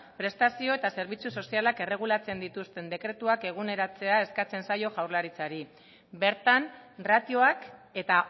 prestazioa eta zerbitzu sozialak erregulatzen dituzten dekretuak eguneratzea eskatzen zaio jaurlaritzari bertan ratioak eta